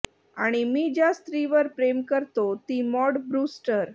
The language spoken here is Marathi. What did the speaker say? आणि मी ज्या स्त्रीवर प्रेम करतो ती मॉड ब्रूस्टर